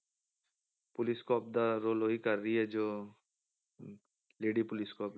police cop ਦਾ role ਉਹੀ ਕਰ ਰਹੀ ਹੈ ਜੋ ਹਮ lady ਪੁਲਿਸ cop